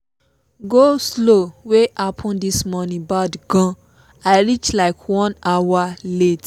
go-slow wey happen this morning bad gan i reach like one hour late late